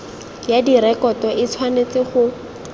ya direkoto e tshwanetse go